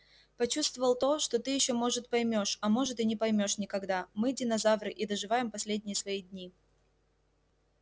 почувствовал то что ты ещё может поймёшь а может и не поймёшь никогда мы динозавры и доживаем последние свои дни